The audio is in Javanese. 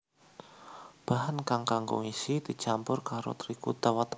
Bahan kang kanggo ngisi dicampur karo trigu utawa tapioka